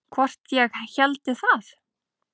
Hvort ég héldi það?